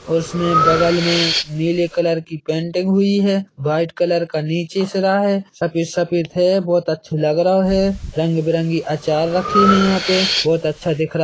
-- और उसने बगल में नीले कलर की पेंटिंग हुई है वाइट कलर का निचे सरा है सफ़ेद सफ़ेद है बहुत अच्छा लग रहा है रंगबिरंगी अचार रखे है यहां पे बहोत अच्छा दिख रहा--